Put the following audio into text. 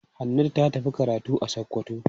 Hannatu ta tafi karatu a Sokoto.